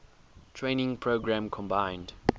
training program combined